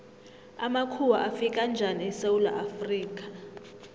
amakhuwa afika njani esewula afrika